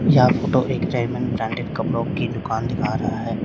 यह फोटो एक Raymond branded कपड़ों की दुकान दिखा रहा है।